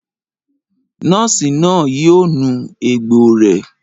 Nọ́ọ̀sì náà yóò nu egbò rẹ̀